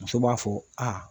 Musow b'a fɔ aa